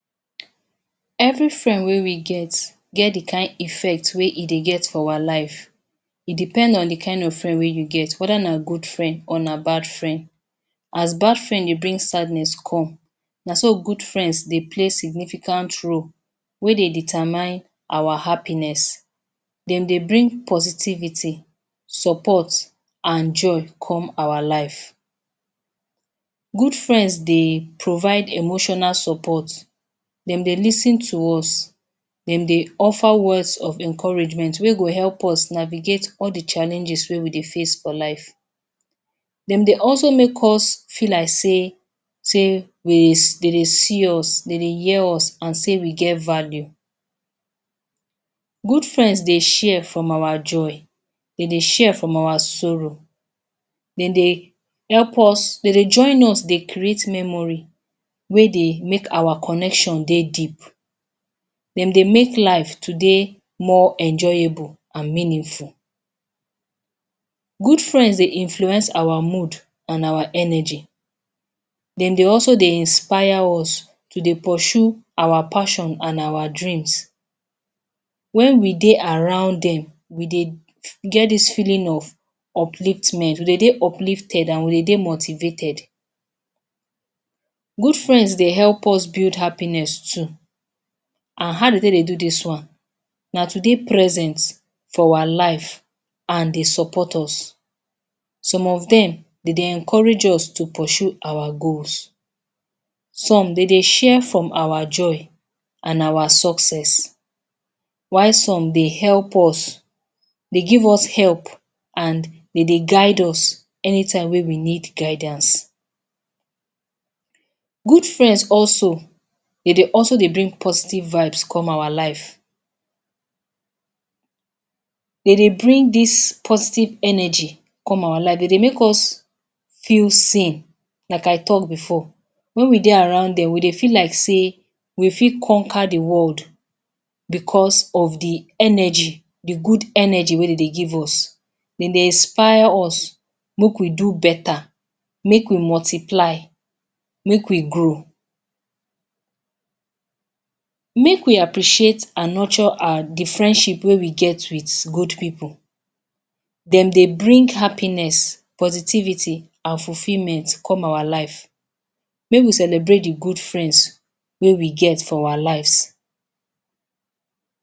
Every friend wey we get, get the kind effect wey e dey get for our life. It depends on the kind of friend wey you get, whether na good friend or na bad friend. As bad friend dey bring sadness come, na so good friends dey play significant role wey dey determine our happiness. De dey bring positivity, support and joy come our life. Good friends, dey provide emotional support. De dey lis ten to us. De dey offer words of encouragement wey go help us navigate all the challenges wey we dey face for life. De dey also make us feel like sey, sey we de dey see us, de dey hear us and sey we get value. Good friends dey share from our joy, de dey share from our sorrow. De dey help us, de dey join us dey create memory wey dey make our connection dey deep. De dey make life to dey more enjoyable and meaningful. Good friends dey influence our mood and our energy. De dey also dey inspire us to dey pursue our passion and our dreams. When we dey around dem, we dey get dis feeling of upliftment, we dey dey uplifted and we dey dey motivated. Good friends dey help us build happiness too. And how de take dey do dis one? Na to dey present for our life and dey support us. Some of dem, de dey encourage us to pursue our goals. Some, de dey share from our joy and our success. While some dey help us, dey give us help and de dey guide us anytime wey we need guidance. Good friends also, de dey also dey bring positive vibes come our life. De dey bring dis positive energy come our life. De dey make us feel seen, like I talked before. When we dey around dem, we dey feel like sey we fit conquer the world because of the energy, the good energy wey dem dey give us. De dey inspire us, make we do better, make we multiply, make we grow. Make we appreciate and nurture our the friendship wey we get with good pipu. De dey bring happiness, positivity and fulfilment come our life. May we celebrate the good friends wey we get for our lives.